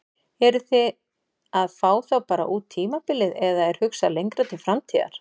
Eruð þið að fá þá bara út tímabilið eða er hugsað lengra til framtíðar?